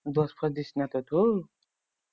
দোষ ফোঁস দিস না তো তু